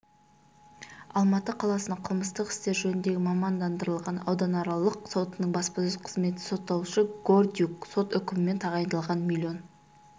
алматы қаласының қылмыстық істер жөніндегі мамандандырылған ауданаралық сотының баспасөз қызметі сотталушы гордиюк сот үкімімен тағайындалған миллион